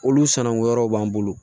Olu sananguyaw b'an bolo